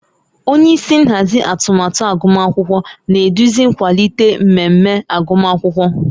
Onye isi nhazi atụmatụ agụmakwụkwọ na-eduzi nkwalite mmemme agụmakwụkwọ